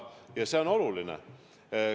Ja see on oluline.